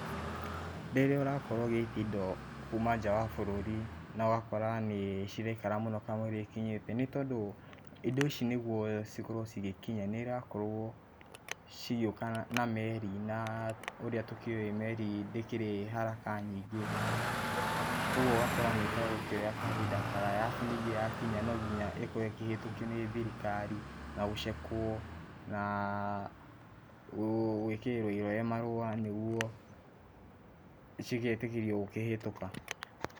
Rĩrĩa ũrakorwo ũgĩtia indo kũma nja wa bũrũri no gakora nĩ ciraikara mũno kamũiria ikinyĩte ,nĩ tondũ indo ici nĩgũo cikorwo cigĩkinya nĩirakorwo cigĩoka na meri na ũríĩ tũkĩ oĩ meri ndĩkĩrĩ haraka nyingi ,koguo ũgagĩkoraya ĩrakioya kahinda karaya arabu ya kinya no nginya ĩkorwo ĩkĩhetũkio nĩ thirikari nagũcekwo na gwĩkĩrĩrwo irore marũa nĩgũo cigetĩkĩrio kũhetũka.